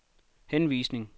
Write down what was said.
henvisning